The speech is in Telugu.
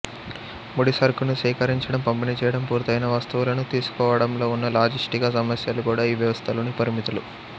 ముడిసరుకును సేకరించడం పంపిణీ చేయడం పూర్తయిన వస్తువులను తీసుకోవడంలో ఉన్న లాజిస్టిక సమస్యలు కూడా ఈ వ్యవస్థ లోని పరిమితులు